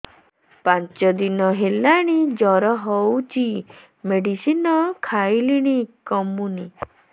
ପାଞ୍ଚ ଦିନ ହେଲାଣି ଜର ହଉଚି ମେଡିସିନ ଖାଇଲିଣି କମୁନି